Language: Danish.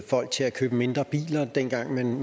folk til at købe mindre biler dengang man